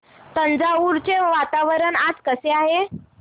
तंजावुर चे वातावरण आज कसे आहे